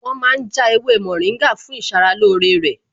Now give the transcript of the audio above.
Wọn ma ń já ewé mòríngà fún ìṣaralóore rẹ̀